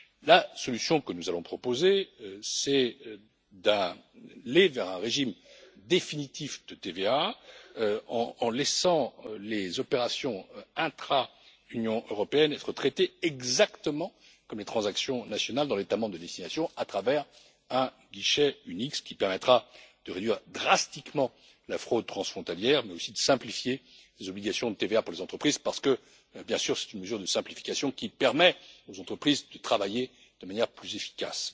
La solution que nous allons proposer, c'est d'aller vers un régime définitif de TVA, en laissant les opérations intra Union européenne être traitées exactement comme les transactions nationales dans l'État membre de destination à travers un guichet unique, ce qui permettra de réduire drastiquement la fraude transfrontalière mais aussi de simplifier les obligations de TVA pour les entreprises, parce que, bien sûr, c'est une mesure de simplification qui permet aux entreprises de travailler de manière plus efficace.